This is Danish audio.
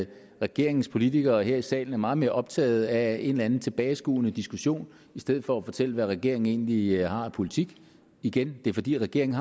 at regeringens politikere her i salen er meget mere optaget af en eller anden tilbageskuende diskussion i stedet for at fortælle hvad regeringen egentlig har af politik og igen det er fordi regeringen